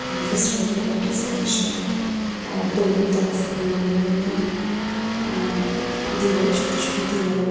हल्की सी red colour की फर्श है और दोनों तरफ लोहे की अ दीवार छोटी छोटी दीवारें--